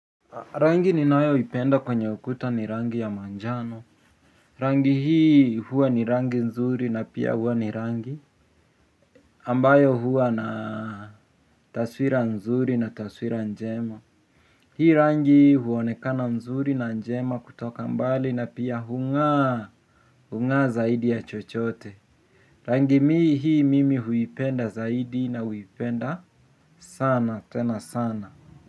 Rangi ninayo ipenda kwenye ukuta ni rangi ya majano. Rangi hii huwa ni rangi nzuri na pia huwa ni rangi. Ambayo huwa na taswira nzuri na taswira njema. Hii rangi huonekana nzuri na njema kutoka mbali na pia hung'aa. Hung'aa zaidi ya chochote. Rangi hii mimi huipenda zaidi na huipenda sana tena sana.